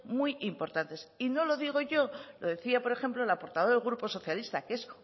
muy importantes y no lo digo yo lo decía por ejemplo la portavoz del grupo socialista que es